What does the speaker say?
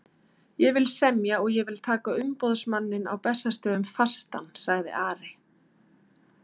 Ég vil semja og ég vil taka umboðsmanninn á Bessastöðum fastan, sagði Ari.